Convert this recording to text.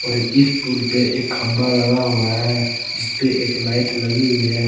और इस पुल पे एक खंभा गड़ा हुआ है जिसपे एक लाइट लगी हुई है।